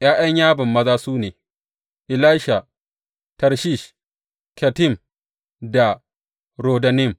’Ya’yan Yaban maza su ne, Elisha, Tarshish, Kittim da Rodanim.